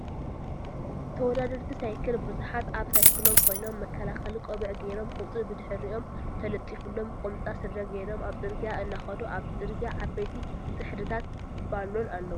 ተወዳደርቲ ሳይክል ብዙሓት ኣብ ሳይክሎም ኮይኖም መከላከሊ ቆቢዕ ገይሮም ቁፅሪ ብድሕሪኦም ተለጢፉሎም ቁምጣ ስረ ጌሮም ኣብ ፅርግያ እናከዱ ኣብቲ ፅርግያ ዓበይቲ ፅሕድታት በሎን ኣለዉ ።